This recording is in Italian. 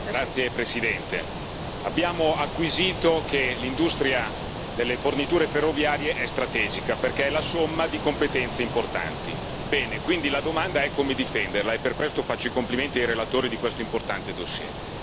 Signora Presidente, onorevoli colleghi, abbiamo acquisito che l'industria delle forniture ferroviarie è strategica perché è la somma di competenze importanti. Quindi la domanda è come difenderla e per questo faccio i complimenti ai relatori di questo importante dossier.